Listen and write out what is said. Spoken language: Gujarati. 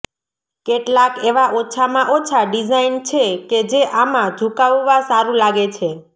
કેટલાંક એવા ઓછામાં ઓછા ડિઝાઇન છે કે જે આમાં ઝુકાવવા સારું લાગે છે